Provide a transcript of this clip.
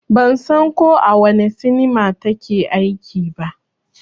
Ban san ko a wane sinima ta ke aiki ba